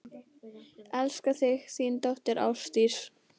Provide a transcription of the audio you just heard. Elska þig, þín dóttir, Ásdís.